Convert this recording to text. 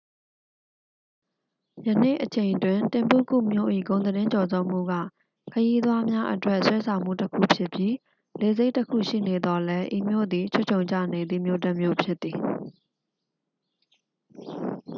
ယနေ့အချိန်တွင် တင်ဘုကု မြို့၏ ဂုဏ်သတင်းကျော်ဇောမှုက ခရီးသွားများအတွက် ဆွဲဆောင်မှုတစ်ခုဖြစ်ပြီး လေဆိပ်တစ်ခုရှိနေသော်လည်း ဤမြို့သည် ခြွတ်ခြုံကျနေသည့် မြို့တစ်မြို့ဖြစ်သည်